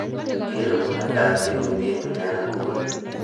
keer ibuneet ab tebutien nyun en inguni